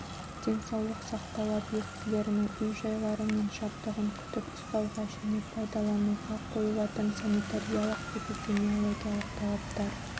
денсаулық сақтау объектілерінің үй-жайлары мен жабдығын күтіп-ұстауға және пайдалануға қойылатын санитариялық-эпидемиологиялық талаптар